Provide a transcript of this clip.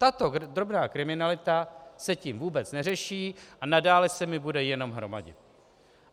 Tato drobná kriminalita se tím vůbec neřeší a nadále s mi bude jen hromadit.